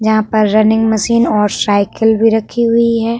यहाँ पर running machine और सायकिल भी रखी हुई है।